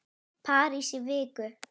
París í viku?